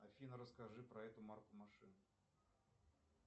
афина расскажи про эту марку машин